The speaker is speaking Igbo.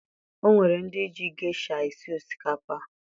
O nwere ndị ji gesha esi osikapa